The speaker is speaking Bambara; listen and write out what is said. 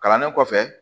Kalannen kɔfɛ